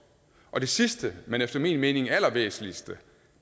og det sidste men efter min mening allervæsentligste